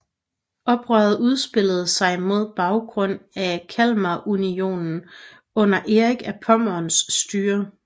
Oprøret udspillede sig mod baggrund af Kalmarunionen under Erik af Pommerns styre